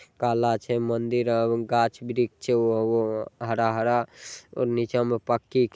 काला छे मंदिर आर गाछ वृक्ष छे ओ वो हरा-हरा और नीचा में पक्की --